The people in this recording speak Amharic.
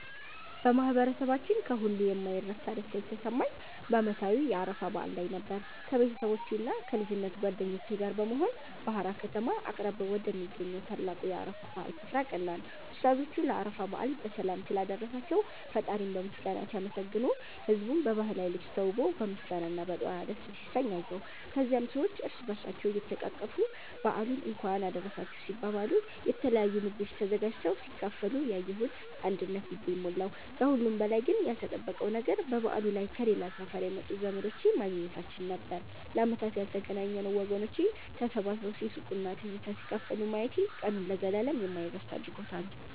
በማህበረሰባችን ከሁሉ የማይረሳ ደስታ የተሰማኝ በዓመታዊው የአረፋ በዓል ላይ ነበር። ከቤተሰቦቼና ከልጅነት ጓደኞቼ ጋር በመሆን በሃራ ከተማ አቅራቢያ ወደሚገኘው ታላቁ የአረፋ በዓል ስፍራ አቀናን። ኡስታዞቹ ለአረፋ በዓል በሰላም ስላደረሳቸው ፈጣሪን በምስጋና ሲያመሰግኑ፣ ህዝቡም በባህላዊ ልብስ ተውቦ በምስጋና እና በዱዓ ደስ ሲሰኝ አየሁ። ከዚያም ሰዎች እርስ በእርስ እየተቃቀፉ በዓሉን እንኳን አደረሳችሁ ሲባባሉ፣ የተለያዩ ምግቦች ተዘጋጅተው ሲካፈሉ ያየሁት አንድነት ልቤን ሞላው። ከሁሉም በላይ ግን ያልተጠበቀው ነገር በበዓሉ ላይ ከሌላ ሰፈር የመጡ ዘመዶቼን ማግኘታችን ነበር፤ ለዓመታት ያልተገናኘነው ወገኖቼን ተሰባስበው ሲስቁና ትዝታ ሲካፈሉ ማየቴ ቀኑን ለዘላለም የማይረሳ አድርጎታል።